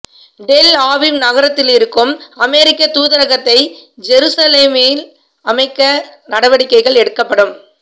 del Aviv நகரத்திலிருக்கும் அமெரிக்கத் தூதரகத்தை ஜெருசலேமில் அமைக்க நடவடிக்கைகள் எடுக்கப்படும்